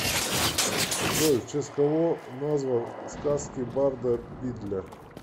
джой в честь кого назван сказки барда бидля